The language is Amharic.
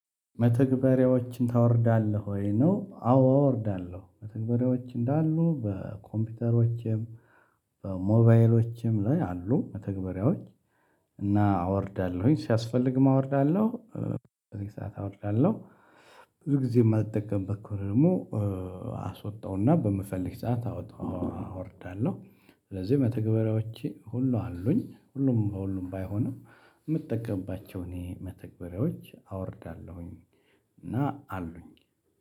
መተግበሬዎችን ታወርዳለህ ወይ ነው? አዎ አወርዳለሁ መተግበሬዎች እንዳሉ በኮምፒውተሮቼም ሞባይሎቼም ላይ አሉ መተግበሪያዎች እና አወርዳለሁኝ ሲያስፈልግም አወርዳለሁ። በዚህ ሰዓት አወርዳለሁ። ብዙ ጊዜ የማልጠቀምበት ከሆነ ደግሞ አሰወጣዉና በምፈልግ ሰዓት አወርዳለሁ። ስለዚህ መተግበሪያዎቼ ሁሉ አሉኝ ሁሉም በሁሉም ባይሆንም የምጠቀምባቸው እኔ መተግበሪያዎች አወርዳለሁኝ። እና አሉኝ